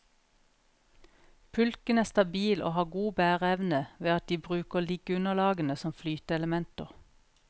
Pulken er stabil og har god bæreevne ved at de bruker liggeunderlagene som flyteelementer.